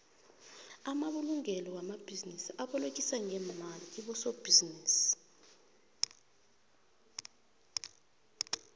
amabulungelo wamabhinisi abolekisa ngemali kobosobhizinisi